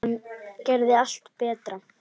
Hann gerði allt betra.